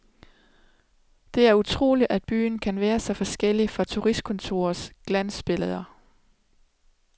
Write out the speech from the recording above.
Det er utroligt, at byen kan være så forskellig fra turistkontorets glansbilleder.